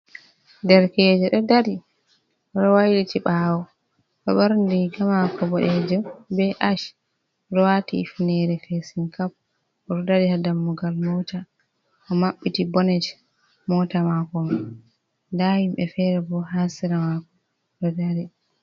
Derkeejo ɗo dari wayliti ɓaawo, o ɗo ɓorni riga maako boɗeejum, be acch, o waati hifineere feesin- kap; o ɗo dari haa dammugal moota, o maɓɓiti boonet moota maako. Nda himɓe fere bo haa sera maako ɗo dari.